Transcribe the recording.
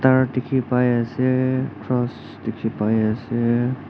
aru dikhi pai ase cross dikhi pai ase.